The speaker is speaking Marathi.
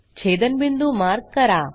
छेदनबिंदू मार्क करा